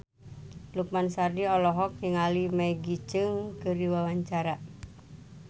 Lukman Sardi olohok ningali Maggie Cheung keur diwawancara